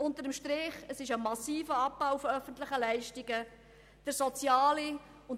Unter dem Strich hat ein massiver Abbau öffentlicher Leistungen stattgefunden.